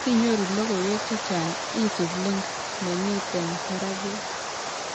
Sinyoru logoiwek chechang' isub link nemitei barak yo